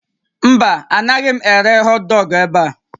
Mba, anaghị m ere họtdọọgụ ebe a